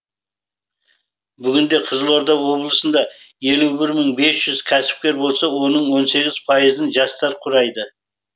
бүгінде қызылорда облысында елу бір мың бес жүз кәсіпкер болса оның он сегіз пайызын жастар құрайды